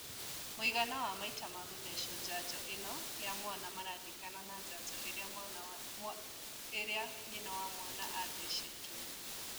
Mũigana wa maita ma gũthecwo njanjo ĩno ya mwana maringanaga na njanjo iria nyina wa mwana athecetwo